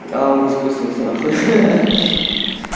а он не запустился нахуй ха-ха-ха